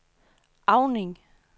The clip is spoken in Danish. Auning